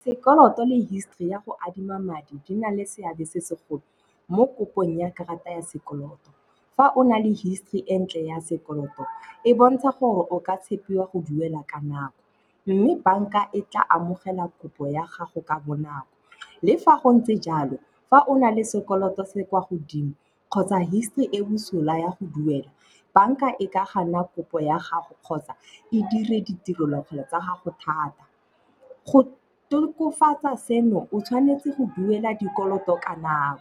Sekoloto le history ya go adima madi di na le seabe se segolo mo kopong ya karata ya sekoloto. Fa o na le history e ntle ya sekoloto, e bontsha gore o ka tshepiwa go duela ka nako. Mme banka e tla amogela kopo ya gago ka bonako. Le fa go ntse jalo, fa o na le sekoloto se kwa godimo kgotsa history e bosula ya go duela, banka e ka gana kopo ya gago kgotsa e dire ditirelo kgolo tsa gago thata. Go tokofatsa seno, o tshwanetse go duela dikoloto ka nako.